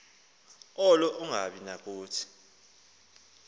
alo angabi nakuthi